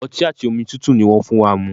Ọti ati omi tutu ni wọn fun wa mu